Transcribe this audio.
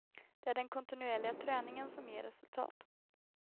Det är den kontinuerliga träningen som ger resultat.